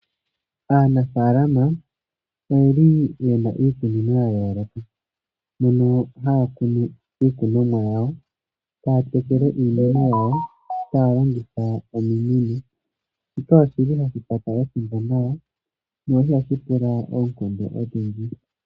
Aanafalama oyili yena iikunino yayoloka. Mono haya kunu iikunomwa yawo, taya tekele iimeno yawo taya longitha ominino. Shika oshili hashi kwata ethimbo nawa. Ihashi pula oonkondo odhindji.